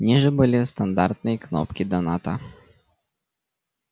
ниже были стандартные кнопки доната